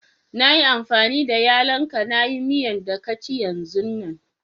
Na yi amfani da yallo'n ka na yi miyan da ka ci yanzun nan.